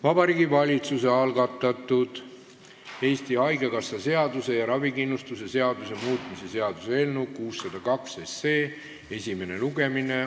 Vabariigi Valitsuse algatatud Eesti Haigekassa seaduse ja ravikindlustuse seaduse muutmise seaduse eelnõu 602 esimene lugemine.